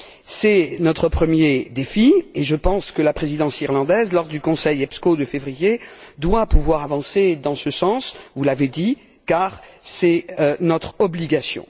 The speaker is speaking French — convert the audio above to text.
C'est notre premier défi et je pense que la Présidence irlandaise, lors du Conseil EPSCO de février, doit pouvoir avancer dans ce sens, car vous l'avez dit c'est notre obligation.